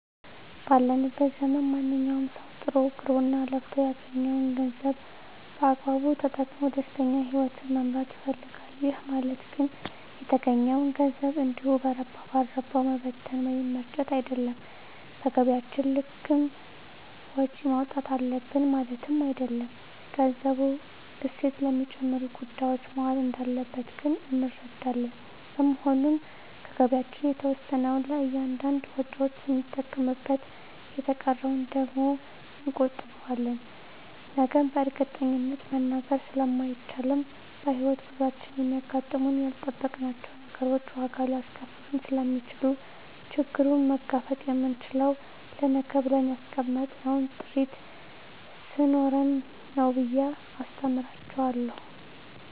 ባለንበት ዘመን ማንኛዉም ሰዉ ጥሮ ግሮእና ለፍቶ ያገኘዉን ገንዘብ በአግባቡ ተጠቅሞ ደስተኛ ህይወትን መምራት ይፈልጋል ይህ ማለት ግን የተገኘዉን ገንዘብ እንዲሁ በረባ ባረባዉ መበተን ወይም መርጨት አይደለም በገቢያችን ልክም ወጪ ማዉጣት አለብን ማለትም አይደለም ገንዘቡ እሴት ለሚጨምሩ ጉዳዮች መዋል እንዳለበት ግን እንረዳለን በመሆኑም ከገቢያችን የተወሰነዉን ለእያንዳንድ ወጪዎች ስንጠቀምበት የተቀረዉን ደግሞ እንቆጥበዋለን ነገን በእርግጠኝነት መናገር ስለማይቻልም በሕይወት ጉዟችን የሚያጋጥሙን ያልጠበቅናቸዉ ነገሮች ዋጋ ሊያስከፍሉን ስለሚችሉ ችግሩን መጋፈጥ የምንችለዉ ለነገ ብለን ያስቀመጥነዉ ጥሪት ስኖረን ነዉ ብየ አስተምራቸዋለሁ